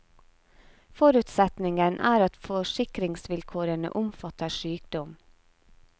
Forutsetningen er at forsikringsvilkårene omfatter sykdom.